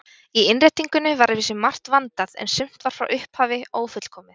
Í innréttingunni var að vísu margt vandað, en sumt var frá upphafi ófullkomið.